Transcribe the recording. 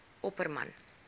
opperman